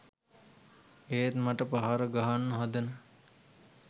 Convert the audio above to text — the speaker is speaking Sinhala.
ඒත් මට පහර ගහන්න හදන